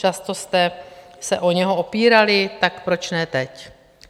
Často jste se o něho opírali, tak proč ne teď?